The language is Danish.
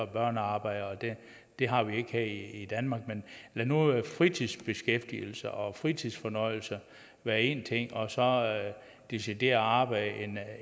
børnearbejde og det det har vi ikke her i danmark men lad nu fritidsbeskæftigelse og fritidsfornøjelse være én ting og så decideret arbejde